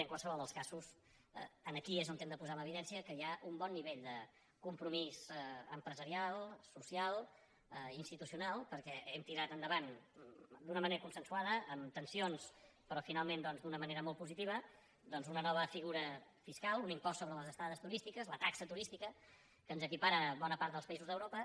en qualsevol dels casos aquí és on hem de posar en evidència que hi ha un bon nivell de compromís em·presarial social institucional perquè hem tirat enda·vant d’una manera consensuada amb tensions però finalment doncs d’una manera molt positiva doncs una nova figura fiscal un impost sobre les estades tu·rístiques la taxa turística que ens equipara a bona part dels països d’europa